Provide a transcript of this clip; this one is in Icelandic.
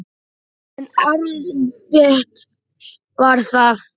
En erfitt var það.